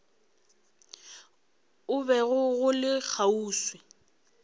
o bego o le kgauswi